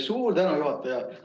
Suur tänu, juhataja!